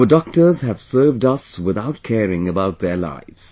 Our doctors have served us without caring about their lives